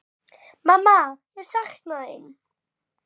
Mamma ég sakna þín.